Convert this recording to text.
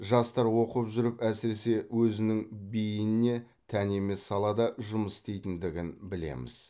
жастар оқып жүріп әсіресе өзінің бейініне тән емес салада жұмыс істейтіндігін білеміз